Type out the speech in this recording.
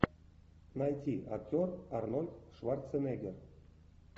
найти актер арнольд шварценеггер